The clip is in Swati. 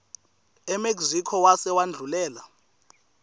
emexico wase wendlulela